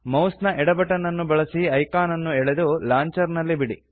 mouse ನ ಎಡ button ಅನ್ನು ಬಳಸಿ ಐಕಾನ್ ಅನ್ನು ಎಳೆದು ಲಾಂಚರ್ ನಲ್ಲಿ ಬಿಡಿ